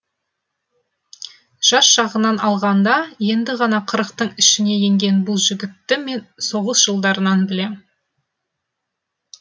жас жағынан алғанда енді ғана қырықтың ішіне енген бұл жігітті мен соғыс жылдарынан білем